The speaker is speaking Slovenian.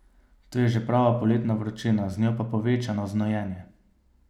Tu je že prava poletna vročina, z njo pa povečano znojenje.